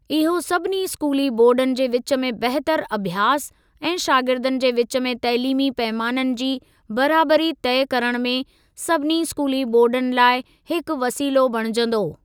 इहो सभिनी स्कूली बोर्डनि जे विच में बहितर अभ्यास ऐं शागिर्दनि जे विच में तइलीमी पैमाननि जी बराबरी तइ करण में सभिनी स्कूली बोर्डनि लाइ हिकु वसीलो बणिजंदो।